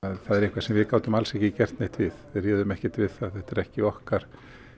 það er eitthvað sem við gátum alls ekki gert neitt við við réðum ekkert við það þetta er ekki okkar